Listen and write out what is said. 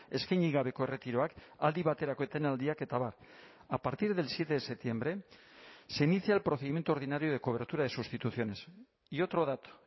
eskaini gabeko erretiroak aldi baterako etenaldiak eta abar a partir del siete de septiembre se inicia el procedimiento ordinario de cobertura de sustituciones y otro dato